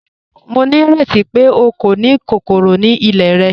Mo ní rẹti pe o kò ni kòkòrò ni ilẹ̀ rẹ?